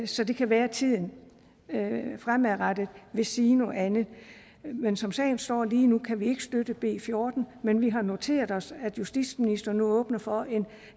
så det kan være at tiden fremadrettet vil sige noget andet men som sagen står lige nu kan vi ikke støtte b fjortende men vi har noteret os at justitsministeren nu åbner for en